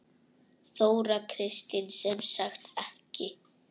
Þóra Kristín: Sem sagt ekki?